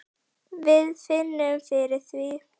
Við finnum fyrir því.